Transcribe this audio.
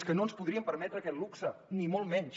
és que no ens podríem permetre aquest luxe ni molt menys